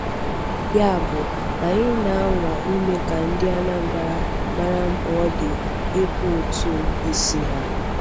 Yabụ, anyị na-anwa ime ka ndị Anambra mara mkpa ọ dị ịkwụ ụtụ isi ha.'